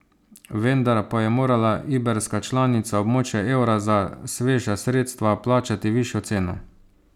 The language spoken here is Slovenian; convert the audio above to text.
Vendar pa je morala iberska članica območja evra za sveža sredstva plačati višjo ceno.